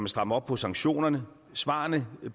stramme op på sanktionerne svarene